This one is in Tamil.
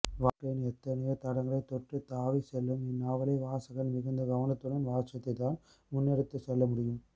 வாழ்க்கையின் எத்தனையோ தளங்களை தொட்டு தாவிச்செல்லும் இந்நாவலை வாசகன் மிகுந்த கவனத்துடன் வாசித்துத்தான் முன்னெடுத்துச்செல்லமுடியும்